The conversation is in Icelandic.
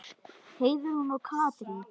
Heiðrún og Katrín.